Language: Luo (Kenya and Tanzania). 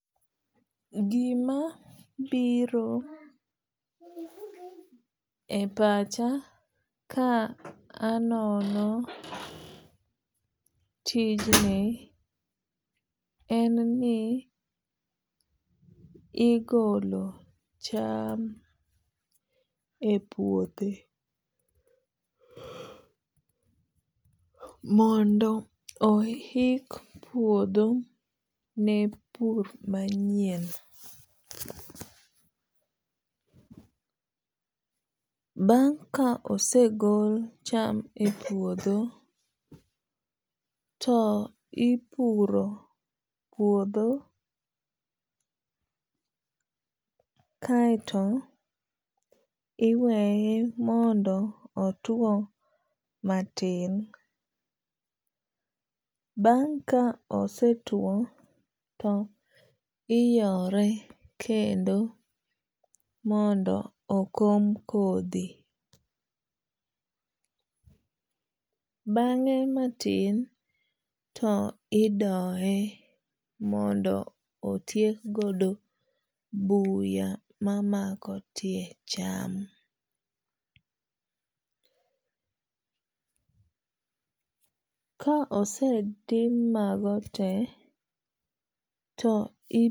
Gima biro e pacha ka anono tijni en ni igolo cham e puothe mondo ohik puodho ne pur manyien. Bang' ka osegol cham e puodho to ipuro puodho kaeto iweye mondo otuo matin. Bang' ka osetuo to iyore kendo mondo okom kodhi. Bang'e matin to idoye mondo otiek godo buya ma mako tie cham. Ka osetim mago te to